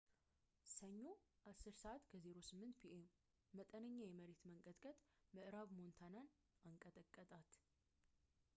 ሰኞ 10:08 ፒ.ኤም መጠነኛ የመሬት መንቀጥቀጥ ምዕራብ ሞንታናን አንቀጠቀጣት